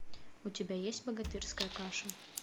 у тебя есть богатырская каша